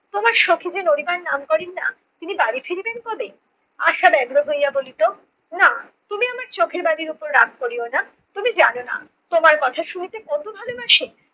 তোমার সখী যে নড়িবার নাম করেন না তিনি বাড়ি ফিরিবেন কবে? আশা ব্যগ্র হইয়া বলিত না, তুমি আমার চোখের বালির ওপর রাগ করিও না, তুমি জানো না তোমার কথা শুনিতে কত ভালোবাসে!